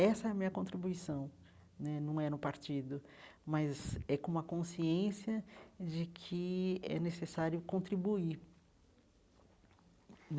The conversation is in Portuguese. Essa é a minha contribuição né, não é no partido, mas é com uma consciência de que é necessário contribuir.